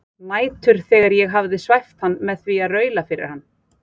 Nætur þegar ég hafði svæft hann með því að raula fyrir hann